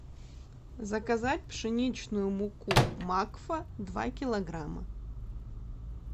заказать пшеничную муку макфа два килограмма